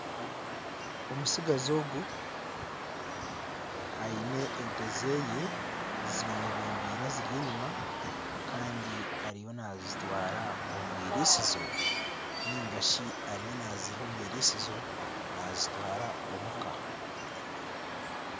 Omutsigazi ogu aine ente ze zimwebembeire aziri enyima Kandi ariyo nazitwara omu iritsizo ningashi ariyo naziiha omu iritsizo nazitwara omuka.